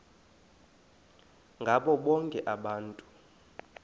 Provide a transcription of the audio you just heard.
ngabo bonke abantu